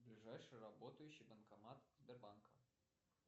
ближайший работающий банкомат сбербанка